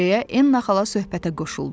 deyə Enn xala söhbətə qoşuldu.